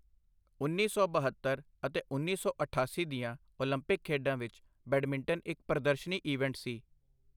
ਉੱਨੀ ਸੌ ਬਹੱਤਰ ਅਤੇ ਉੱਨੀ ਸੌ ਅਠਾਸੀ ਦੀਆਂ ਓਲੰਪਿਕ ਖੇਡਾਂ ਵਿੱਚ ਬੈਡਮਿੰਟਨ ਇੱਕ ਪ੍ਰਦਰਸ਼ਨੀ ਈਵੈਂਟ ਸੀ।